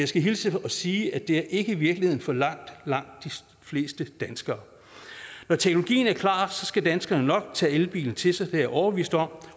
skal hilse og sige at det ikke er virkeligheden for langt langt de fleste danskere når teknologien er klar skal danskerne nok tage elbilen til sig det er jeg overbevist om